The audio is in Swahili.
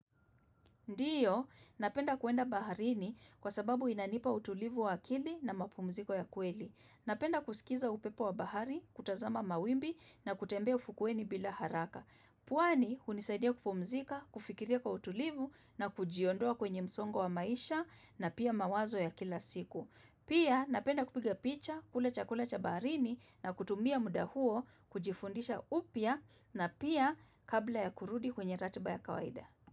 Ndiyo, napenda kuenda baharini kwa sababu inanipa utulivu wa akili na mapumziko ya kweli. Napenda kusikiza upepo wa bahari, kutazama mawimbi na kutembea ufukweni bila haraka. Pwani, hunisaidia kupumzika, kufikiria kwa utulivu na kujiondoa kwenye msongo wa maisha na pia mawazo ya kila siku. Pia, napenda kupiga picha, kula chakula cha baharini na kutumia muda huo, kujifundisha upya na pia kabla ya kurudi kwenye ratiba ya kawaida.